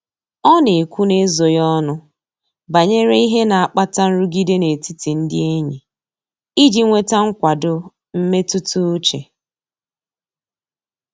Ọ na-ekwu n'ezoghị ọnụ banyere ihe na-akpata nrụgide n'etiti ndị enyi iji nweta nkwado mmetụta uche.